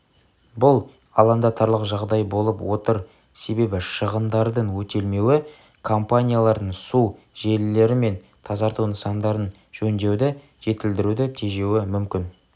бұл алаңдатарлық жағдай болып отыр себебі шығындардың өтелмеуі компаниялардың су желілері мен тазарту нысандарын жөндеуді жетілдіруді тежеуі мүмкін